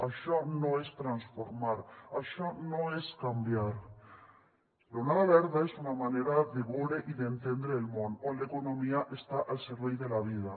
això no és transformar això no és canviar l’onada verda és una manera de veure i d’entendre el món on l’economia està al servei de la vida